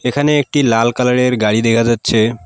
এখানে একটি লাল কালার -এর গাড়ি দেখা যাচ্ছে।